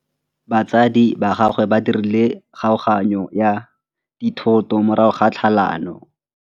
Batsadi ba gagwe ba dirile kgaoganyô ya dithoto morago ga tlhalanô.